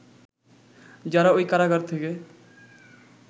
যারা ওই কারাগার থেকে